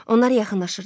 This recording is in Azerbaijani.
Onlar yaxınlaşırdılar.